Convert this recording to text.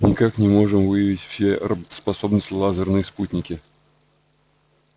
никак не можем выявить все работоспособные лазерные спутники